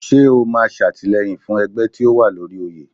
Ṣé o máa ṣàtìlẹ́yìn fún ẹgbẹ́ tí ó wà lóri oyè?